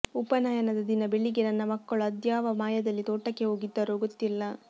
ಉಪನಯನದ ದಿನ ಬೆಳಿಗ್ಗೆ ನನ್ನ ಮಕ್ಕಳು ಅದ್ಯಾವ ಮಾಯದಲ್ಲಿ ತೋಟಕ್ಕೆ ಹೋಗಿದ್ದರೋ ಗೊತ್ತಿಲ್ಲ